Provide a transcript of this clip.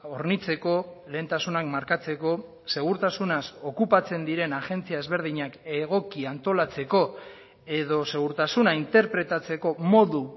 hornitzeko lehentasunak markatzeko segurtasunaz okupatzen diren agentzia ezberdinak egoki antolatzeko edo segurtasuna interpretatzeko modu